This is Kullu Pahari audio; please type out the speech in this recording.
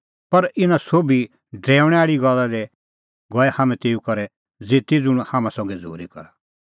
पर इना सोभी ड्रैऊंणी गल्ला दी गऐ हाम्हैं तेऊ करै ज़िती ज़ुंण हाम्हां संघै झ़ूरी करा